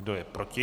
Kdo je proti?